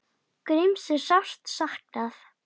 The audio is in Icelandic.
Gríms er sárt saknað.